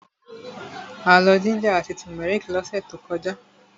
A lọ jíńjà àti tùmẹ́rìkì lọ́sẹ̀ tó kọjá.